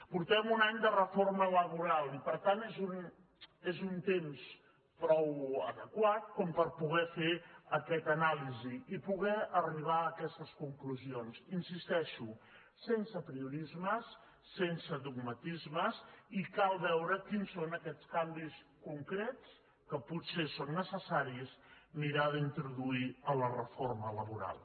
por·tem un any de reforma laboral i per tant és un temps prou adequat per poder fer aquesta anàlisi i poder ar·ribar a aquestes conclusions hi insisteixo sense apri·orismes sense dogmatismes i cal veure quins són aquests canvis concrets que potser és necessari mirar d’introduir a la reforma laboral